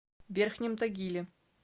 верхнем тагиле